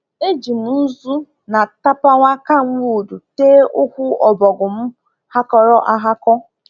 Eji m nzu na tapawa camwood tee ụkwụ ọbọgwụ m ghakọrọ aghakọ